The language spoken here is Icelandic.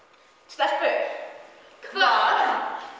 stelpur hvað